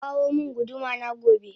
Kaka womin gudu mana gobe